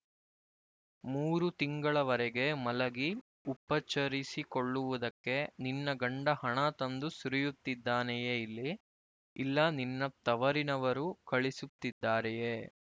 ಮೂರು ತಿಂಗಳವರೆಗೆ ಮಲಗಿ ಉಪಚರಿಸಿಕೊಳ್ಳುವುದಕ್ಕೆ ನಿನ್ನ ಗಂಡ ಹಣ ತಂದು ಸುರಿಯುತ್ತಿದ್ದಾನೆಯೇ ಇಲ್ಲಿ ಇಲ್ಲ ನಿನ್ನ ತವರಿನವರು ಕಳಿಸುತ್ತಿದ್ದಾರೆಯೇ